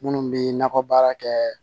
Minnu bɛ nakɔ baara kɛ